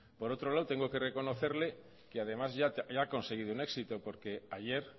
por otro lado tengo que reconocerle que además ya ha conseguido un éxito porque ayer